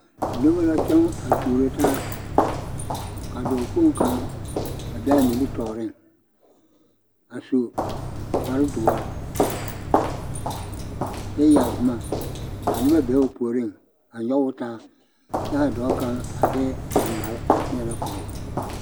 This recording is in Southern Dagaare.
Noba la kyɔŋ a tuuro taa ka dɔɔkpoŋ kaŋ a be a nimitɔɔreŋ a su kparedoɔre kyɛ yɛre boma ka noba be o puoriŋ a nyɔge o taa kyɛ a dɔɔ kaŋ a de dangbale a teɛnɛ korɔ o.